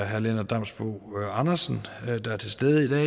herre lennart damsbo andersen der er til stede i dag